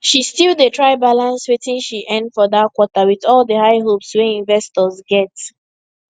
she still dey try balance wetin she earn for that quarter with all the high hopes wey investors get